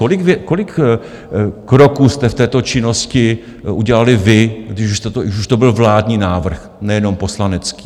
Kolik kroků jste v této činnosti udělali vy, když už to byl vládní návrh, nejenom poslanecký?